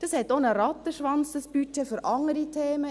Dieses Budget bewirkt auch einen Rattenschwanz für andere Themen.